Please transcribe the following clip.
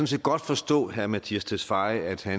set godt forstå herre mattias tesfaye altså